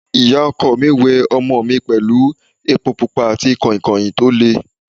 Ìyá ọkọ mi we ọmọ mi pẹ̀lú epo pupa àti kọ̀ìnkọ̀ìn tó le.